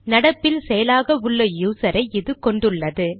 நடப்பில் செயலாக உள்ள யூசரை இது கொண்டுள்ளது